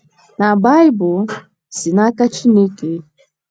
Na Baịbụl si n’aka Chineke?